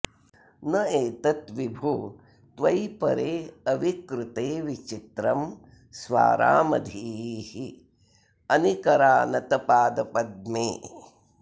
न एतत् विभो त्वयि परे अविकृते विचित्रम् स्वारामधीः अनिकरानतपादपद्मे